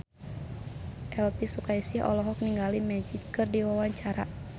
Elvi Sukaesih olohok ningali Magic keur diwawancara